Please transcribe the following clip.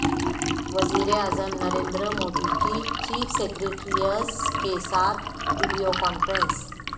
وزیراعظم نریندر مودی کی chief secretaries کے ساتھ ویڈیو کانفرنس